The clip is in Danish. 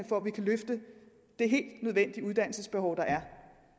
for at vi kan løfte det uddannelsesbehov der er